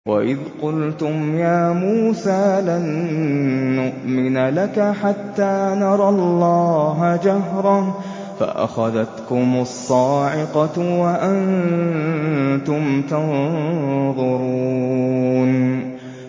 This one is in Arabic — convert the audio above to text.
وَإِذْ قُلْتُمْ يَا مُوسَىٰ لَن نُّؤْمِنَ لَكَ حَتَّىٰ نَرَى اللَّهَ جَهْرَةً فَأَخَذَتْكُمُ الصَّاعِقَةُ وَأَنتُمْ تَنظُرُونَ